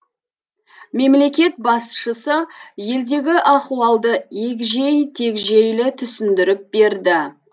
мемлекет басшысы елдегі ахуалды егжей тегжейлі түсіндіріп берді